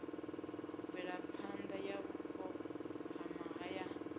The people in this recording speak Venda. mvelaphanḓa ya vhupo ha mahayani